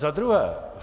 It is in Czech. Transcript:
Za druhé.